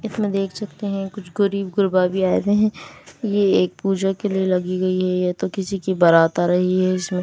इसमें देख सकते हैं कुछ गरीब गरबा भी आए हुए हैं ये एक पूजा के लिए लगी गई है ये तो किसी की बारात आ रही है इसमें --